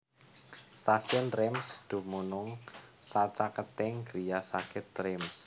Stasiun Reims dumunung sacaketing griya sakit Reims